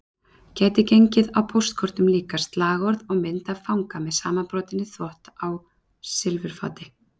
Gæti gengið á póstkortum líka, slagorð og mynd af fanga með samanbrotinn þvott á silfurfati